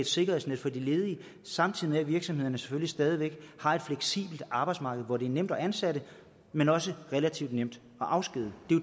sikkerhedsnet for de ledige samtidig med at virksomhederne selvfølgelig stadig væk har et fleksibelt arbejdsmarked hvor det er nemt at ansætte men også relativt nemt at afskedige